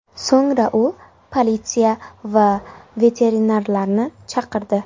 So‘ngra u politsiya va veterinarlarni chaqirdi.